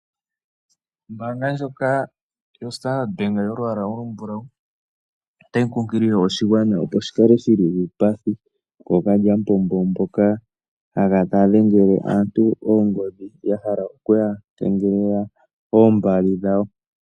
Ombanga ndjoka yoStandard Bank yolwaala olumbulawu otayi kunkilile oshigwana opo shikale shili uupathi kookalyamupombo, mpoka haya kala taya dhengele aantu oongodhi yahala okuya kengelela oombali dhawo.